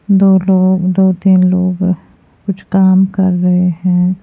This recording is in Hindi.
दो लोग दो तीन लोग कुछ काम कर रहे हैं।